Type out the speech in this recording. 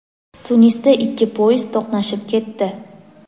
Tunisda ikki poyezd to‘qnashib ketdi.